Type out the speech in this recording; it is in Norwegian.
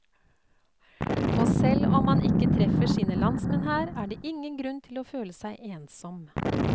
Og selv om man ikke treffer sine landsmenn her, er det ingen grunn til å føle seg ensom.